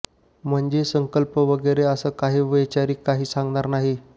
म्हणजे संकल्प वगैरे असं काही वैचारिक काही सांगणार नाही